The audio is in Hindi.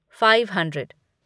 five hundred